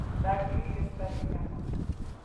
Ndangĩrĩa irio citarĩ nyama.